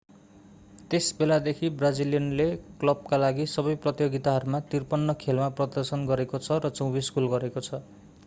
त्यस बेलादेखि ब्राजिलियनले क्लबका लागि सबै प्रतियोगिताहरूमा 53 खेल मा प्रदर्शन गरेको छ र 24 गोल गरेको छ